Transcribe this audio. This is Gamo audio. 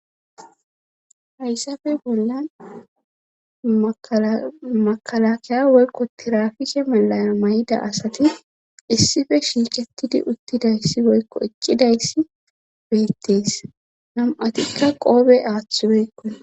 Hayssafe bollan makalakiya woykko tirafike malaya may7ida asati issife shiicettidi uttidayssi boykko eccidayssi beettees nam7atikka qoobe aaththibeykkon